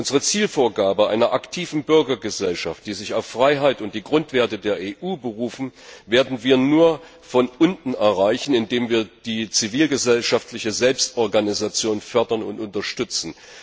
Unsere Zielvorgabe einer aktiven Bürgergesellschaft, die sich auf Freiheit und die Grundwerte der EU beruft, werden wir nur von unten erreichen, indem wir die zivilgesellschaftliche Selbstorganisation fördern und unterstützen.